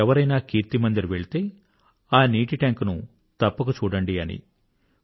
ఎవరైనా కీర్తి మందిర్ వెళ్తే ఆ నీటి టాంక్ ను తప్పక చూడండి అని